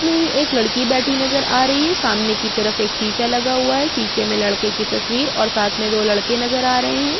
इसमें एक लड़की बैठी नज़र आ रही हे सामने की तरफ एक शीशा लगा हुआ है शीशे में लड़के की तस्वीर और साथ में दो लड़के नज़र आ रहे है।